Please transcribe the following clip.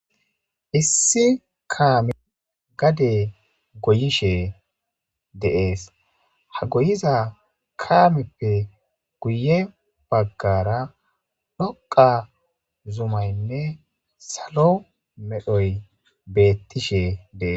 Issi kame gade goyishshe dees ha goyuza kameppe guye baggara dhdhoqa zumayne salo mera meray beetishshe des